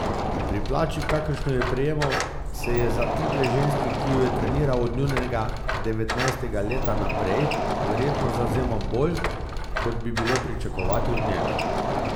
Pri plači, kakršno je prejemal, se je za tidve ženski, ki ju je treniral od njunega devetnajstega leta naprej, verjetno zavzemal bolj, kot bi bilo pričakovati od njega.